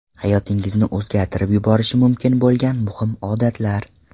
Hayotingizni o‘zgartirib yuborishi mumkin bo‘lgan muhim odatlar.